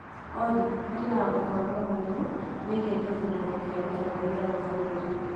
Olly harĩ na ũhoro mwerũ wĩgiĩ gĩthurano kĩa ũtongoria wa bũrũri